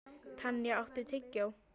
Tanya, áttu tyggjó?